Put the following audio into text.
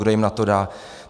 Kdo jim na to dá?